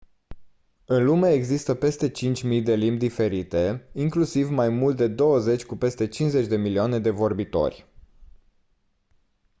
în lume există peste 5000 de limbi diferite inclusiv mai mult de douăzeci cu peste 50 de milioane de vorbitori